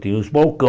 Tinha os